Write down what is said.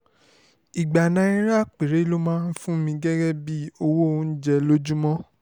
ìgbà náírà péré ló máa ń fún mi gẹ́gẹ́ bíi owó oúnjẹ lójúmọ́